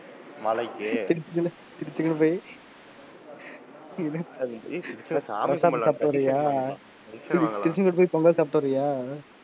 நாளைக்கு திருச்செந்தூர் போயி, பிரசாதம் சாப்பிட்டு வரியா? திருச்செந்தூர் போயி பொங்கல் சாப்பிட்டு வரியா?